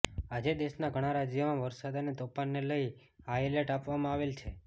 આજે દેશનાં ઘણાં રાજ્યોમાં વરસાદ અને તોફાનને લઇ હાઇ એલર્ટ આપવામાં આવેલ છે